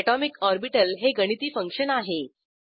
atomic orbital हे गणिती function आहे